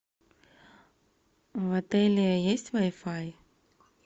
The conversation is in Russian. в отеле есть вай фай